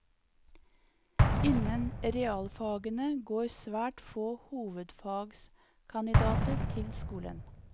Innen realfagene går svært få hovedfagskandidater til skolen.